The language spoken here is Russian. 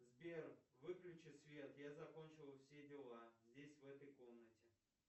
сбер выключи свет я закончил все дела здесь в этой комнате